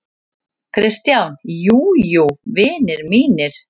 KRISTJÁN: Jú, jú, vinir mínir!